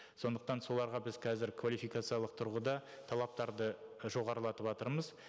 сондықтан соларға біз қазір квалификациялық тұрғыда талаптарды жоғарлатыватырмыз